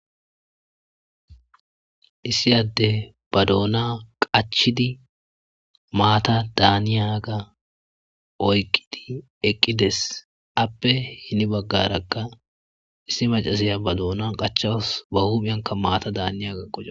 Issi yadde ba doona qachidi maata daaniyaga oyqqidi eqqides appe hini baggarakka issi macaziya ba doona qachaws ba huphiyanka maata daaniyaga qoche.